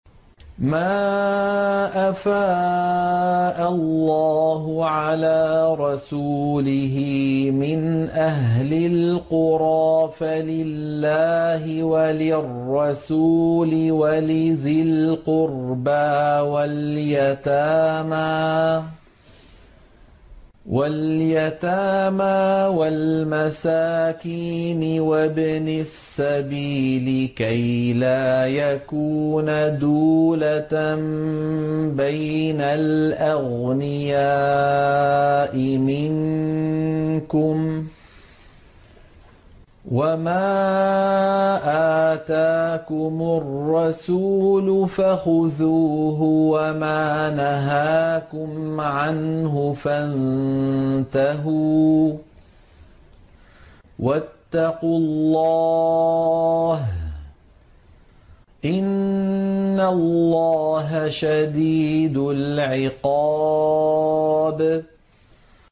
مَّا أَفَاءَ اللَّهُ عَلَىٰ رَسُولِهِ مِنْ أَهْلِ الْقُرَىٰ فَلِلَّهِ وَلِلرَّسُولِ وَلِذِي الْقُرْبَىٰ وَالْيَتَامَىٰ وَالْمَسَاكِينِ وَابْنِ السَّبِيلِ كَيْ لَا يَكُونَ دُولَةً بَيْنَ الْأَغْنِيَاءِ مِنكُمْ ۚ وَمَا آتَاكُمُ الرَّسُولُ فَخُذُوهُ وَمَا نَهَاكُمْ عَنْهُ فَانتَهُوا ۚ وَاتَّقُوا اللَّهَ ۖ إِنَّ اللَّهَ شَدِيدُ الْعِقَابِ